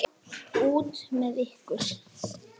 Henni var hjálpað til byggða.